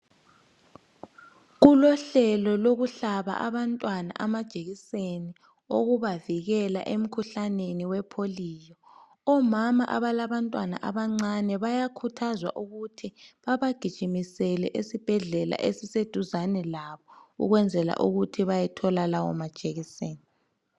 Kulohlelo lokuhlaba abantwana amajekiseni okubavikela emkhuhlaneni wepolio. Omama abalabantwana abancane bayakhuthazwa ukuthi babagijimisele esibhedlela esiseduzane labo ukwenzela ukuthi bayethola lawo majekiseni.